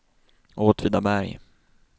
Åtvidaberg